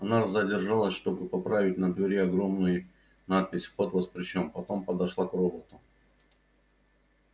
она задержалась чтобы поправить на двери огромный надпись вход воспрещён потом подошла к роботу